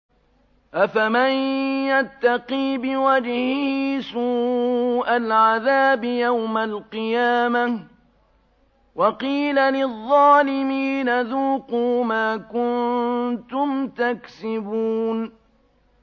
أَفَمَن يَتَّقِي بِوَجْهِهِ سُوءَ الْعَذَابِ يَوْمَ الْقِيَامَةِ ۚ وَقِيلَ لِلظَّالِمِينَ ذُوقُوا مَا كُنتُمْ تَكْسِبُونَ